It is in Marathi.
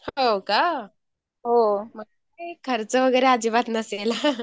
हो का, Unclar खर्च वगैरे अज्जीबातच नसेल .